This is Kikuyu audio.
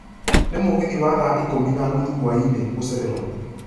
nĩ mũgithi wa thaa ikũmi na nũthũ hwaĩinĩ gũcererwo